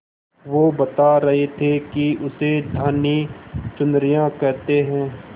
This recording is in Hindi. वो बता रहे थे कि उसे धानी चुनरिया कहते हैं